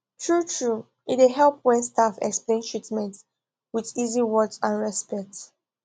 truetrue e dey help when staff explain treatment with easy words and respect